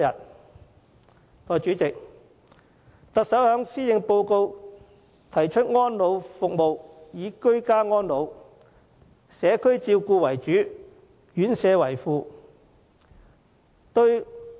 代理主席，行政長官在施政報告中提出安老服務應以居家安老和社區照顧為主，院舍為輔的方針。